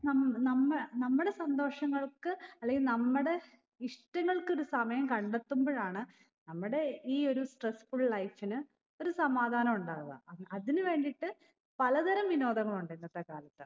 നം നമ്മ നമ്മടെ സന്തോഷങ്ങൾക്ക് അല്ലെങ്കിൽ നമ്മടെ ഇഷ്ട്ടങ്ങൾക്ക് ഒരു സമയം കണ്ടെത്തുമ്പഴാണ് നമ്മടെ ഈ ഒരു stressful life ന് ഒരു സമാധാനം ഉണ്ടാവ അഹ് അതിന് വേണ്ടീട്ട് പലതരം വിനോദങ്ങളുണ്ട് ഇന്നത്തെ കാലത്ത്